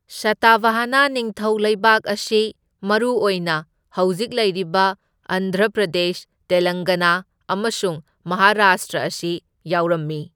ꯁꯇꯚꯍꯅ ꯅꯤꯡꯊꯧ ꯂꯩꯕꯥꯛ ꯑꯁꯤ ꯃꯔꯨ ꯑꯣꯏꯅ ꯍꯧꯖꯤꯛ ꯂꯩꯔꯤꯕ ꯑꯟꯙ꯭ꯔ ꯄ꯭ꯔꯗꯦꯁ, ꯇꯦꯂꯪꯒꯅꯥ ꯑꯃꯁꯨꯡ ꯃꯍꯥꯔꯥꯁꯇ꯭ꯔ ꯑꯁꯤ ꯌꯥꯎꯔꯝꯃꯤ꯫